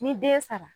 Ni den sara